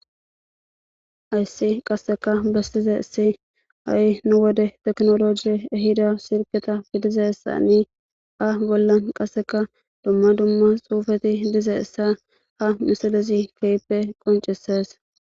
Hayssi qasseka besizaysi ha'i nu wode teknoloji ehida silketa gidizaysani ha bollan qasseka dumma dumma xuufeti dizaysa ha misilezi keype qoncesees.